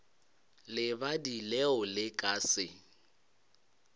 lebadi leo le ka se